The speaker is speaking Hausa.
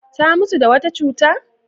Ta mutu da wata cuta?